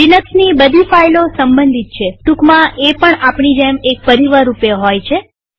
લિનક્સની બધી ફાઈલો સંબંધિત છેટુકમાં એ પણ આપણી જેમ એક પરિવાર રૂપે હોય છે